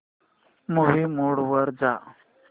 movie mode वर जा